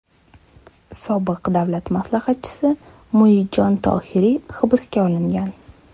Sobiq davlat maslahatchisi Muidjon Tohiriy hibsga olingan.